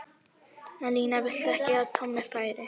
En Lína vildi ekki að Tommi færi.